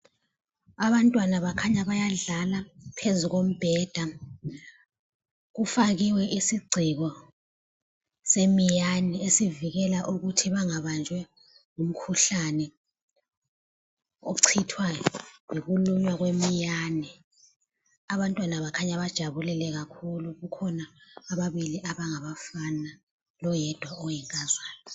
Abantwana bakhanya bayadla phezu kombheda. Kufakiwe isigceko semiyane ,esivikela Ukuthi bangabanjwa ngumkhuhlane ochithwa yikulunywa kwe miyane . Abantwana bakhanya bajabulile kakhulu ,kukhona ababili abangabafana loyedwa oyinkazana.